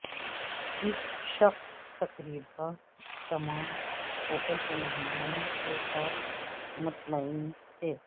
اس شق تقریبا تمام ہوٹل کے مہمانوں کے ساتھ مطمئن تھے